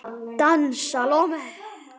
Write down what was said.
Dans Salóme.